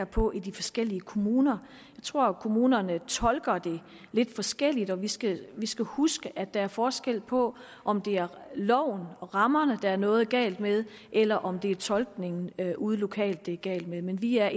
på i de forskellige kommuner jeg tror at kommunerne tolker det lidt forskelligt og vi skal vi skal huske at der er forskel på om det er loven rammerne der er noget galt med eller om det er tolkningen ude lokalt det er galt med men vi er